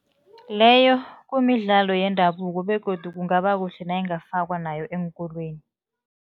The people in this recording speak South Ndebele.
Leyo kumidlalo yendabuko begodu kungaba kuhle nayingafakwa nayo eenkolweni.